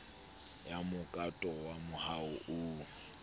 ya mokato wa moaho oo